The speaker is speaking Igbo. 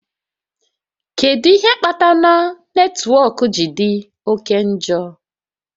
Kedu ihe kpatara netwọk ji dị oke njọ?